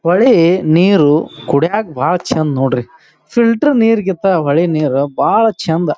ಹೊಳೆ ನೀರು ಕುಡಿಯಾಕ್ ಬಹಳ ಚಂದ್ ನೋಡ್ರಿ ಫಿಲ್ಟರ್ ನೀರ್ ಗಿಂತ ಹೊಳೆ ನೀರು ಬಹಳ ಚಂದ.